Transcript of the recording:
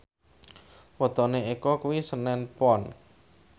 wetone Eko kuwi senen Pon